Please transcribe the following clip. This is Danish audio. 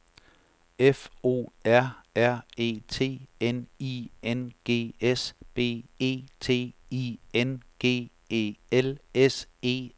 F O R R E T N I N G S B E T I N G E L S E R